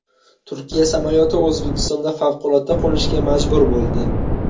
Turkiya samolyoti O‘zbekistonda favqulodda qo‘nishga majbur bo‘ldi.